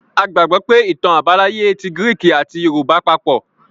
A gbàgbọ́ pé ìtàn àbáláyé ti gíríkì àti yorùbá papọ̀.